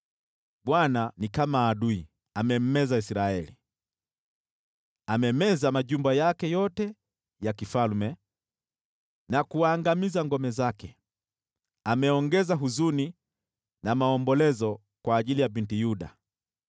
Bwana ni kama adui; amemmeza Israeli. Amemeza majumba yake yote ya kifalme na kuangamiza ngome zake. Ameongeza huzuni na maombolezo kwa ajili ya Binti Yuda.